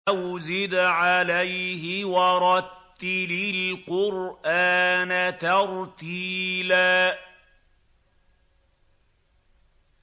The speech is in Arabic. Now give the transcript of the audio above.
أَوْ زِدْ عَلَيْهِ وَرَتِّلِ الْقُرْآنَ تَرْتِيلًا